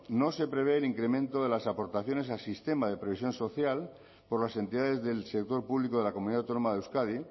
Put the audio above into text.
no se prevé el incremento de las aportaciones al sistema de previsión social por las entidades del sector público de la comunidad autónoma de euskadi